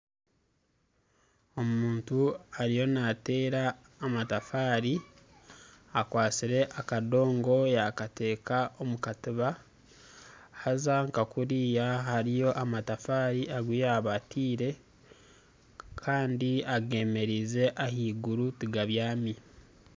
Omuntu ariyo naateera amatafaari akwatsire akadoogo yaakata omu katiba haza nka kuriya hariyo amatafaari agu yaaba yataire kandi ageemererize ahansi tigabyami